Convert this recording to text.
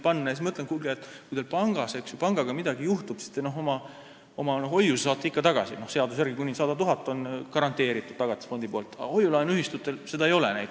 Ma ütlen, et kuulge, kui teie pangaga midagi juhtub, siis te saate oma hoiuse ikka tagasi – seaduse järgi on kuni 100 000 garanteeritud Tagatisfondist –, aga hoiu-laenuühistute puhul näiteks seda võimalust ei ole.